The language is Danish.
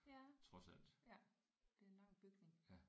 Ja ja det er en lang bygning